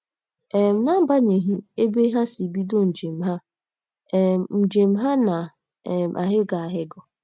um N’agbanyeghị ebe ha si bido njem ha, um njem ha na um - ahịgọ ahịgọ.